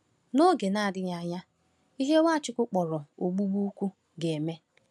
N’oge na-adịghị anya, ihe Nwachukwu kpọrọ “ogbugbu ukwu” ga-eme.